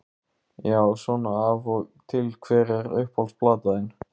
Já svona af og til Hver er uppáhalds platan þín?